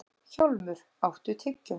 Hjálmur, áttu tyggjó?